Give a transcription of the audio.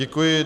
Děkuji.